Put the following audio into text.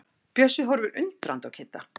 Bjössi horfir undrandi á Kidda.